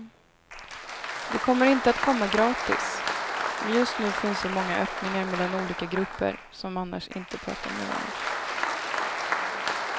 Det kommer inte att komma gratis, men just nu finns så många öppningar mellan olika grupper som annars inte pratar med varann.